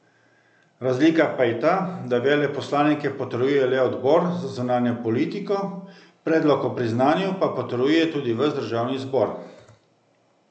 Razlika pa je ta, da veleposlanike potrjuje le odbor za zunanjo politiko, predlog o priznanju pa potrjuje tudi ves državni zbor.